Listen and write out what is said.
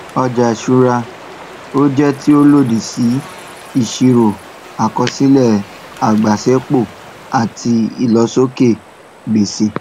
ọjà ìṣúra ó jẹ tí ó lòdì sí ìsirò àkọsílẹ agbasẹpọ àti ìlósókè gbèsè